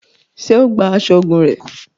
Ṣe o gbà aṣọ ogún rẹ?